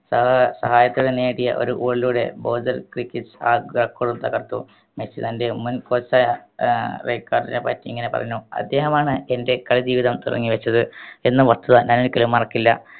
സാ സഹായത്തിന് നേടിയ ഒരു goal ലൂടെ bozal ക്രിക്കറ്റ് ക്കളും തകർത്തു മെസ്സി തൻറെ മുൻ coach ആയ ഏർ വെക്കാർഡിനെ പറ്റി ഇങ്ങനെ പറഞ്ഞു അദ്ദേഹമാണ് എൻറെ കളി ജീവിതം തുടങ്ങി വെച്ചത് എന്ന വസ്തുത ഞാൻ ഒരിക്കലും മറക്കില്ല